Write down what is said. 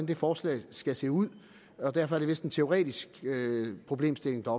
det forslag skal se ud og derfor er det vist en teoretisk problemstilling der